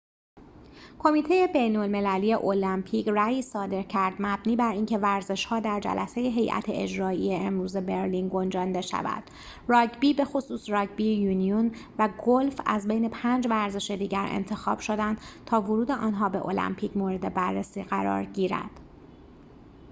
کمیته بین‌المللی المپیک رأیی صادر کرد مبنی بر اینکه ورزش‌ها در جلسه هیئت اجرایی امروز برلین گنجانده شود راگبی بخصوص راگبی یونیون و گلف از بین پنج ورزش دیگر انتخاب شدند تا ورود آنها به المپیک مورد بررسی قرار گیرد